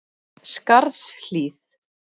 Skarðshlíð